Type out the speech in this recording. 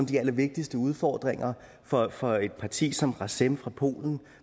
de allervigtigste udfordringer for for et parti som razem fra polen